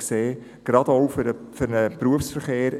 Dies konnte man in letzter Zeit sehen.